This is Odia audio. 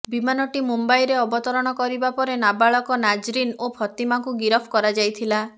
ବିମାନଟି ମୁମ୍ବାଇରେ ଅବତରଣ କରିବାପରେ ନାବାଳକ ନାଜରୀନ୍ ଓ ଫାତିମାକୁ ଗିରଫ କରାଯାଇଥିଲା